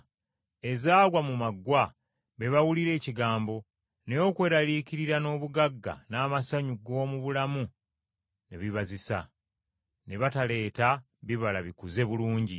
Ezaagwa mu maggwa, be bawulira ekigambo, naye okweraliikirira n’obugagga n’amasanyu g’omu bulamu ne bibazisa, ne bataleeta bibala bikuze bulungi.